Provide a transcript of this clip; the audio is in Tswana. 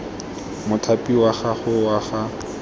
mothapi wa gago wa ga